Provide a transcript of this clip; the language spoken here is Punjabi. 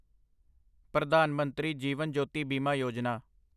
ਪ੍ਰਧਾਨ ਮੰਤਰੀ ਜੀਵਨ ਜੋਤੀ ਬੀਮਾ ਯੋਜਨਾ